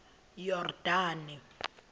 yordane